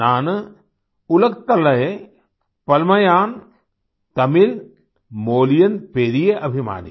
नान उलगतलये पलमायां तमिल मोलियन पेरिये अभिमानी